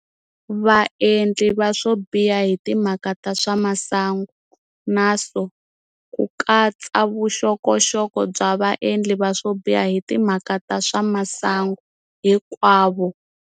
Vaendli va swobiha hi timhaka ta swa masangu, NRSO, ku katsa vuxokoxoko bya vaendli va swobiha hi timhaka ta swa masangu hinkwavo.